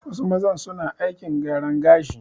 Wasu mazan su na aikin gyaran gashi